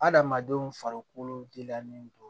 Adamadenw farikolo gilannen don